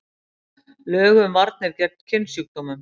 Lög um varnir gegn kynsjúkdómum.